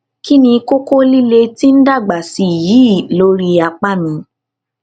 kí ni kókó líle tí ń dàgbà sí i yìí lórí apá mi